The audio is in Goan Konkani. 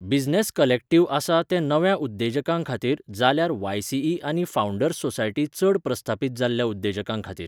बिझनॅस कलॅक्टिव्ह आसा तें नव्या उद्देजकांखातीर जाल्यार वाय.ई.सी. आनी फावंडर्स सोसायटी चड प्रस्थापीत जाल्ल्या उद्देजकांखातीर.